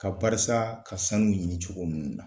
Ka barisa ka sanu ɲini cogo minnu na.